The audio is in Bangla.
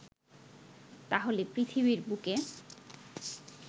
তাহলে পৃথিবীর বুকে